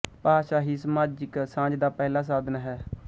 ਭਾਸ਼ਾ ਹੀ ਸਮਾਜਿਕ ਸਾਂਝ ਦਾ ਪਹਿਲਾ ਸਾਧਨ ਹੈ